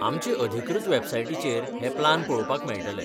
आमचे अधिकृत वॅबसायटीचेर हे प्लान पळोवपाक मेळटले.